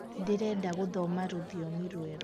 ndirenda guthoma rũthiomi rwerũ